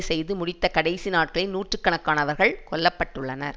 செய்து முடித்த கடைசி நாட்களில் நூற்று கணக்கானவர்கள் கொல்ல பட்டுள்ளனர்